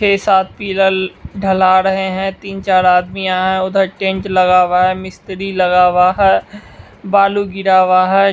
छः-सात pillar ढला रहे हैं तीन-चार आदमी यहाँ हैं उधर टेंट लगा हुआ है मिस्त्री लगा हुआ है बालू गिरा हुआ है।